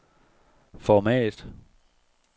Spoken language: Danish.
format